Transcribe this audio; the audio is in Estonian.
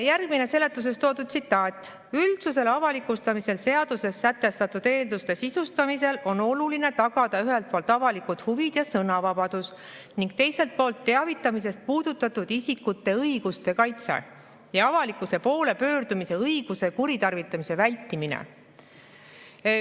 Järgmine seletuses toodud tsitaat: "Üldsusele avalikustamisel seaduses sätestatud eelduste sisustamisel on oluline tagada ühelt poolt avalikud huvid ja sõnavabadus ning teiselt poolt teavitamisest puudutatud isikute õiguste kaitse ja avalikkuse poole pöördumise õiguse kuritarvitamise vältimine.